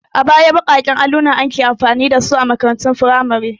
A baya baƙaƙen alluna ake amfani da su a makarantun firamare.